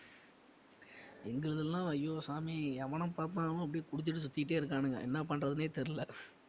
எங்களதெல்லாம் ஐயோ சாமி எவன பாத்தாலும் அப்படியே குடிச்சுட்டு சுத்திட்டே இருக்கானுங்க என்ன பண்றதுனே தெரியல?